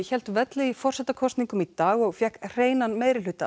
hélt velli í forsetakosningum í dag og fékk hreinan meirihluta